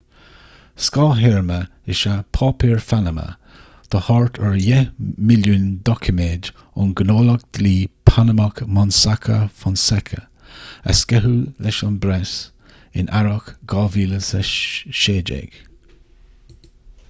scáth-théarma is ea páipéir phanama do thart ar dheich milliún doiciméad ón ngnólacht dlí panamach mossack fonseca a sceitheadh leis an bpreas in earrach 2016